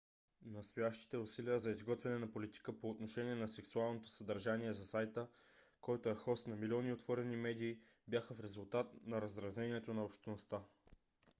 настоящите усилия за изготвяне на политика по отношение на сексуалното съдържание за сайта който е хост на милиони отворени медии бяха в резултат на раздразнението на общността